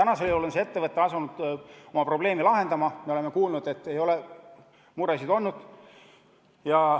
Nüüd on see ettevõte asunud oma probleemi lahendama, me oleme kuulnud, et ei ole muresid olnud.